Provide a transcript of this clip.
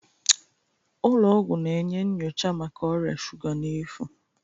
Ụlọ ọgwụ na-enye nyocha maka ọrịa shuga n'efu